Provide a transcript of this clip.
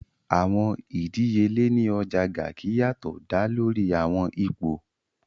Awọn idiyele ni Ọja Garki yatọ da lori awọn ipo.